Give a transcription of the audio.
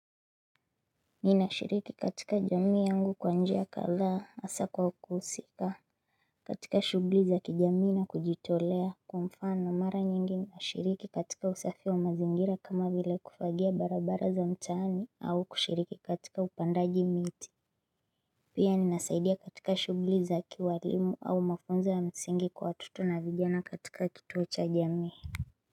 Ninashiriki katika jamii yangu kwa njia kadhaa hasa kwa kuhusika katika shuguli za kijamii na kujitolea kwa mfano mara nyingi nashiriki katika usafi wa mazingira kama vile kufagia barabara za mtaani au kushiriki katika upandaji miti Pia ninasaidia katika shuguli za kiwalimu au mafunzo wa msingi kwa watoto na vijana katika kituo cha jamii.